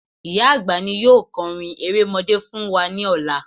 Ìyá àgbà ni yóò kọrin erémọdé fún wa ní ọlá